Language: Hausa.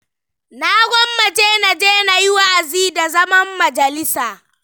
Na gwammace na je na ji wa'azi, da zaman majalisa.